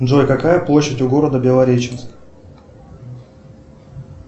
джой какая площадь у города белореченск